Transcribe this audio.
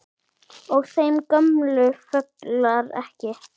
Og þeim gömlu fjölgar ekki.